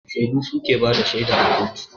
Shaidu suke bada shaida a kotu